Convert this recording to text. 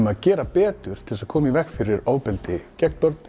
að gera betur til þess að koma í veg fyrir ofbeldi gegn börnum